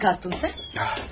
Ne zaman kalktın sen?